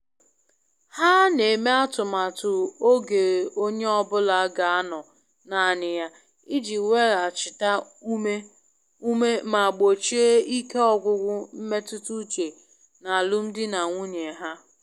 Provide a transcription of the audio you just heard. Ha n'eme atụmatụ oge onye ọbụla ga anọ naanị ya iji weghachita ume ume ma gbochie ike ọgwụgwụ mmetụta uche n'alụmdi na nwunye ha.